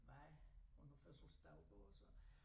Var hun havde fødselsdag i går så